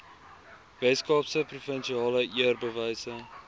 weskaapse provinsiale eerbewyse